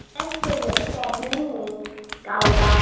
Blessuð sé minning Kára.